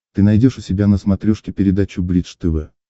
ты найдешь у себя на смотрешке передачу бридж тв